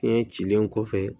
Fiɲɛ cilen kɔfɛ